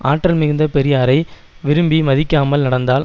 ஆற்றல் மிகுந்த பெரியாரை விரும்பி மதிக்காமல் நடந்தால்